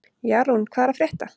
Jarún, hvað er að frétta?